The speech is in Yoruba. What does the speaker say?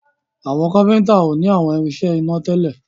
Àwọn kápẹ́ńtà o ní àwọn irinṣẹ́ iná tèlé.